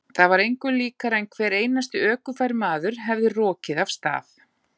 Það var engu líkara en hver einasti ökufær maður hefði rokið af stað.